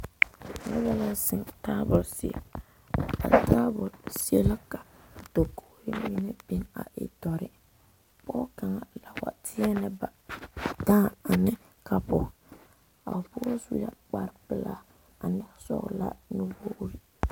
Noba are zeŋ tabol zie a tabol zie la ka mine dakogre biŋ a e doɔre pɔge kaŋa la wa tenee ba dãã ane kapu a pɔge su la kpare pelaa ane sɔglaa nuwogre.